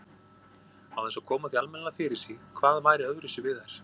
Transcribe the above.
Án þess að koma því almennilega fyrir sig hvað væri öðruvísi við þær.